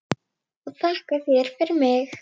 Og þakka þér fyrir mig.